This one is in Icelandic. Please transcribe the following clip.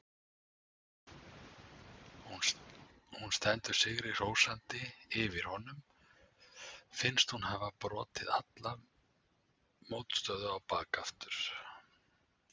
Hún stendur sigri hrósandi yfir honum, finnst hún hafa brotið alla mótstöðu á bak aftur.